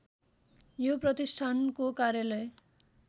यो प्रतिष्ठानको कार्यालय